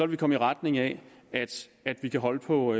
vi komme i retning af at vi kan holde på